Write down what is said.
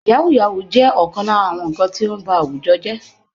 Yahooyahoo jẹ́ ọ̀kan lára àwọn nǹkan tí ó ń ba àwùjọ jẹ́